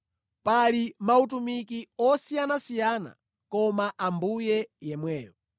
Pali mautumiki osiyanasiyana koma Ambuye yemweyo.